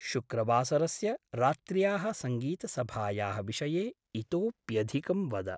शुक्रवासरस्य रात्र्याः सङ्गीतसभायाः विषये इतोऽप्यधिकं वद।